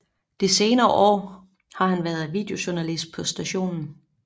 De senere par år har han været videojournalist på stationen